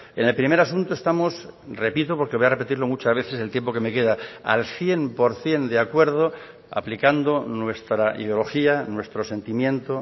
en el primer asunto estamos repito porque voy a repetirlo muchas veces el tiempo que me queda al cien por ciento de acuerdo aplicando nuestra ideología nuestro sentimiento